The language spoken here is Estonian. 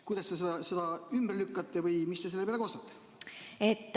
Kuidas te seda ümber lükkate või mis te selle peale kostate?